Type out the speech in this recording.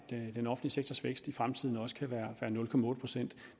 den offentlige sektors vækst i fremtiden også kan være nul procent